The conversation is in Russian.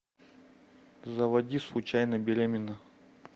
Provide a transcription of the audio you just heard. заводи случайно беременна